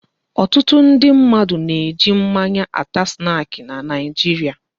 Ọtụtụ ndị mmadụ na eji mmanya ata snaki n'Naijiria